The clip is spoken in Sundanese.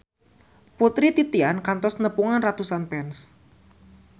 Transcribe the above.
Putri Titian kantos nepungan ratusan fans